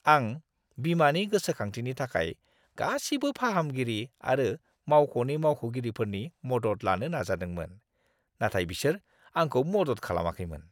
आं बीमानि गोसोखांथिनि थाखाय गासिबो फाहामगिरि आरो मावख'नि मावख'गिरिफोरनि मदद लानो नाजादोंमोन। नाथाय बिसोर आंखौ मदद खालामाखैमोन।